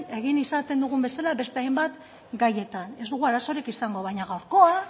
izaten dugun bezala beste hainbat gaietan ez dugu arazorik izango baina gaurkoa